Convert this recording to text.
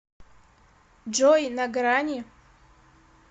джой на грани